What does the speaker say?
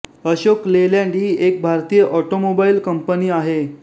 Ashok Leyland ही एक भारतीय ऑटोमोबाईल कंपनी आहे